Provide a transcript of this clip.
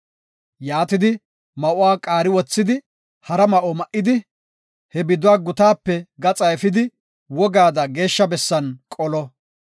Yaatidi ma7uwa qaari wothidi hara ma7o ma7idi he biduwa gutaape gaxa efidi wogaada geeshsha bessan qolo.